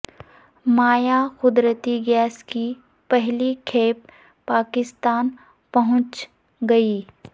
مائع قدرتی گیس کی پہلی کھیپ پاکستان پہنچ گئی